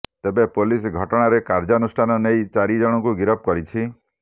ତେବେ ପୋଲିସ ଘଟଣାରେ କାର୍ଯ୍ୟାନୁଷ୍ଠାନ ନେଇ ଚାରି ଜଣଙ୍କୁ ଗିରଫ କରିଛି